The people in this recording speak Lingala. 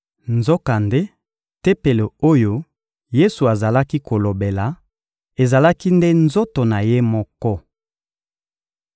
Nzokande Tempelo oyo Yesu azalaki kolobela, ezalaki nde nzoto na Ye moko.